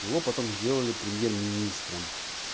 его потом сделали премьер-министром